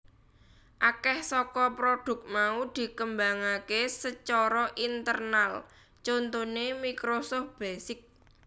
Akèh saka prodhuk mau dikembangaké sacara internal contoné Microsoft Basic